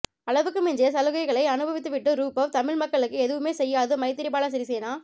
அளவுக்கு மிஞ்சிய சலுகைகளை அனுபவித்துவிட்டுரூபவ் தமிழ் மக்களுக்கு எதுவுமே செய்யாது மைத்திரிபால சிறிசேனா